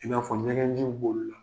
I b'a fɔ ɲɛgɛji bolila.